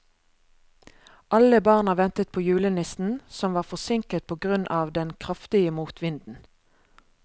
Alle barna ventet på julenissen, som var forsinket på grunn av den kraftige motvinden.